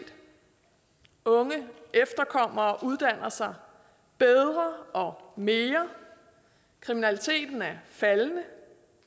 unge efterkommere uddanner sig bedre og mere kriminaliteten er faldende